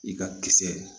I ka kisɛ